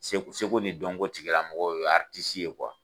Seko seko ni dɔnko tigila mɔgɔ, o ye